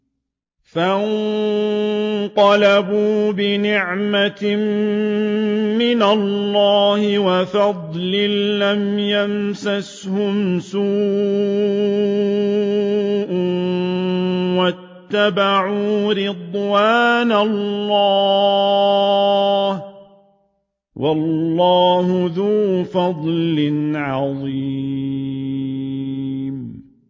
فَانقَلَبُوا بِنِعْمَةٍ مِّنَ اللَّهِ وَفَضْلٍ لَّمْ يَمْسَسْهُمْ سُوءٌ وَاتَّبَعُوا رِضْوَانَ اللَّهِ ۗ وَاللَّهُ ذُو فَضْلٍ عَظِيمٍ